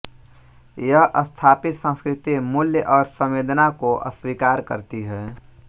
यह स्थापित संस्कृति मूल्य और संवेदना को अस्वीकार करती है